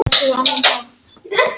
Brynjúlfur, lækkaðu í græjunum.